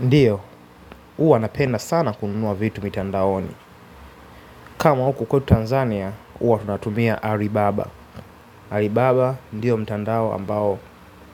Ndiyo huwa napenda sana kununua vitu mitandaoni. Kama huku kwetu Tanzania huwa tunatumia Aribaba Alibaba ndiyo mtandao ambao